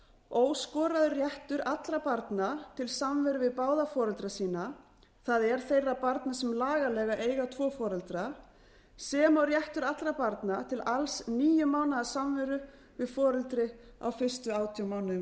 óskoraður réttur allra barna til samveru við báða foreldra sína það er þeirra barna sem lagalega eiga tvo foreldra sem og réttur allra barna til alls níu mánaða samveru við foreldri á fyrstu átján mánuðum